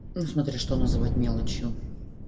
ну смотря что называть мелочью